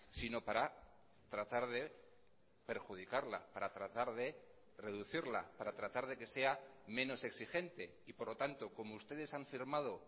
sino para tratar de perjudicarla para tratar de reducirla para tratar de que sea menos exigente y por lo tanto como ustedes han firmado